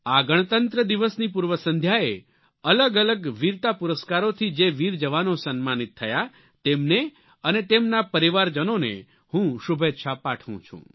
આ ગણતંત્ર દિવસની પૂર્વ સંધ્યાએ અલગ અલગ વીરતા પુરસ્કારોથી જે વીર જવાનો સન્માનિત થયા તેમને અને તેમના પરિવારજનોને હું શુભેચ્છા પાઠવું છું